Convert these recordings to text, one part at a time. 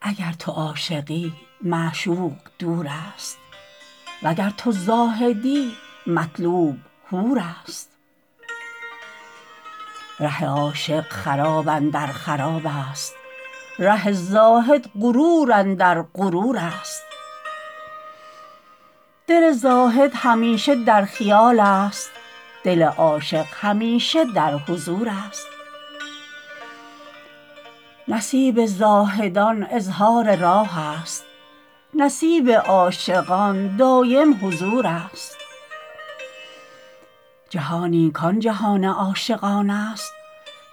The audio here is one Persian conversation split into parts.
اگر تو عاشقی معشوق دور است وگر تو زاهدی مطلوب حور است ره عاشق خراب اندر خراب است ره زاهد غرور اندر غرور است دل زاهد همیشه در خیال است دل عاشق همیشه در حضور است نصیب زاهدان اظهار راه است نصیب عاشقان دایم حضور است جهانی کان جهان عاشقان است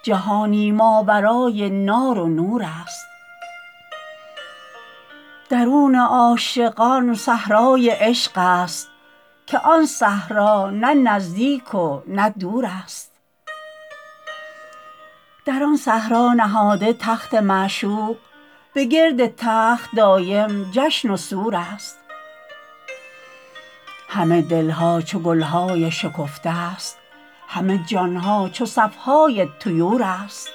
جهانی ماورای نار و نور است درون عاشقان صحرای عشق است که آن صحرا نه نزدیک و نه دور است در آن صحرا نهاده تخت معشوق به گرد تخت دایم جشن و سور است همه دلها چو گلهای شکفته است همه جان ها چو صف های طیور است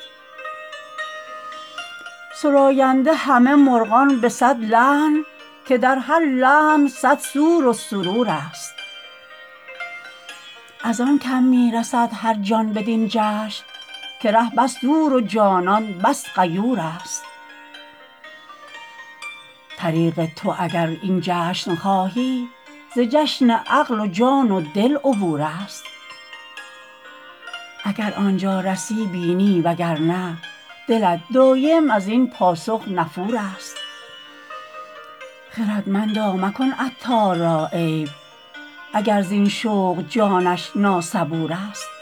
سراینده همه مرغان به صد لحن که در هر لحن صد سور و سرور است ازان کم می رسد هرجان بدین جشن که ره بس دور و جانان بس غیور است طریق تو اگر این جشن خواهی ز جشن عقل و جان و دل عبور است اگر آنجا رسی بینی وگرنه دلت دایم ازین پاسخ نفور است خردمندا مکن عطار را عیب اگر زین شوق جانش ناصبور است